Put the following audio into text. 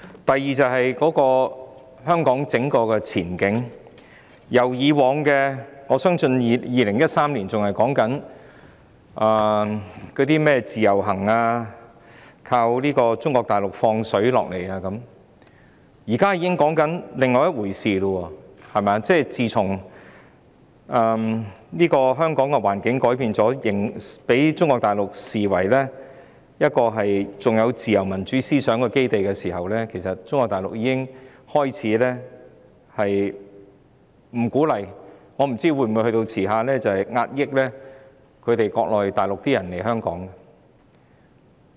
第二，關於香港的整體前景，我相信2013年仍在討論甚麼自由行，依靠中國大陸向香港"放水"，現在卻已經在討論另一回事：自從香港的環境改變，被中國大陸視為仍有自由民主思想的基地後，其實中國大陸已開始不鼓勵內地人士來港，我不知未來會否甚至加以壓抑。